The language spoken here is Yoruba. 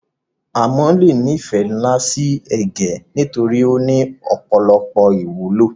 áMo le ni ìfẹ́ nlá si ẹ̀gẹ́ nitorí o ni ọ̀pọ̀lọpọ̀ ìwúlò